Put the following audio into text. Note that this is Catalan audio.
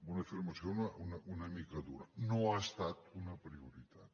una afirmació una mica dura no ha estat una prioritat